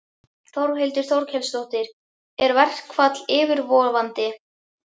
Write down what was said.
Þórhildur Þorkelsdóttir: Er verkfall yfirvofandi?